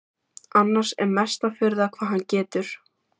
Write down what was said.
Annars er mesta furða hvað hann getur.